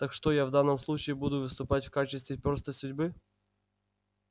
так что я в данном случае буду выступать в качестве перста судьбы